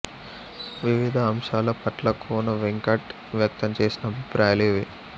వివిధ అంశాల పట్ల కోన వెంకట్ వ్యక్తంచేసిన అభిప్రాయాలు ఇవి